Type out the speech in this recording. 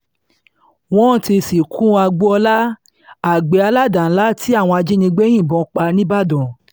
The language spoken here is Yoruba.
wọ́n ti sìnkú agboola àgbẹ̀ aládàá-ńlá tí àwọn ajìnígbé yìnbọn pa nìbàdàn